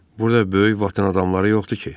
Burda böyük vatan adamları yoxdur ki?